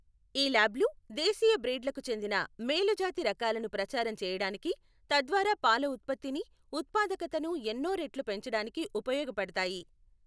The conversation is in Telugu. ఈ ల్యాబ్లు దేశీయ బ్రీడ్లకు చెందిన మేలుజాతి రకాలను ప్రచారం చేయడానికి, తద్వారా పాల ఉత్పత్తిని, ఉత్పాదకతను ఎన్నో రెట్లు పెంచడానికి ఉపయోగపడతాయి.